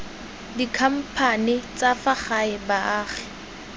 dikhamphane tsa fa gae baagi